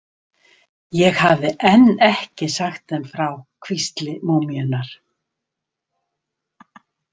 Ég hafði enn ekki sagt þeim frá hvísli múmíunnar.